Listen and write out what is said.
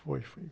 Foi, foi.